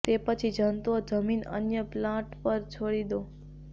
તે પછી જંતુઓ જમીન અન્ય પ્લોટ પર છોડી દો